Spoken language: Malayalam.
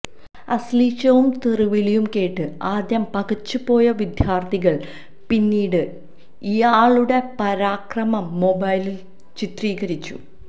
അശ്ലീലവും തെറിവിളിയും കേട്ട് ആദ്യം പകച്ചു പോയ വിദ്യാര്ഥിനികള് പിന്നീട് ഇയാളുടെ പരാക്രമം മൊബൈലില് ചിത്രീകരിച്ചു